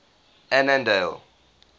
annandale